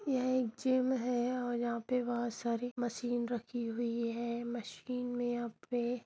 यह एक जीम है और यहाँ पे बहोत सारी मशीन रखी हुई है मशीन मे यहाँ पे--